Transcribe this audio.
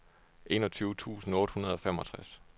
enogtyve tusind otte hundrede og femogtres